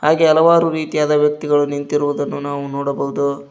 ಹಾಗೆ ಹಲವಾರು ರೀತಿಯಾದ ವ್ಯಕ್ತಿಗಳು ನಿಂತಿರುವುದನ್ನು ನಾವು ನೋಡಬಹುದು.